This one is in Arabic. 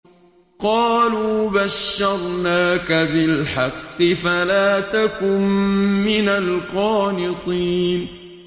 قَالُوا بَشَّرْنَاكَ بِالْحَقِّ فَلَا تَكُن مِّنَ الْقَانِطِينَ